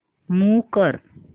move कर